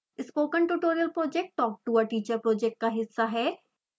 spoken tutorial project talk to a teacher project का हिस्सा है